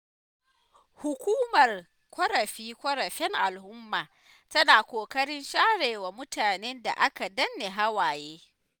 Hukumar ƙorafe-ƙorafen al'umma, tana ƙoƙarin sharewa mutanen da aka danne hawaye.